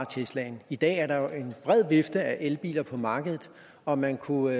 teslaen i dag er der jo en bred vifte af elbiler på markedet og man kunne